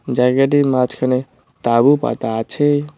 জায়গাটির মাঝখানে তাঁবু পাতা আছে।